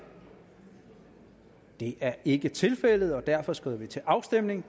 det er ikke tilfældet og derfor skrider vi til afstemning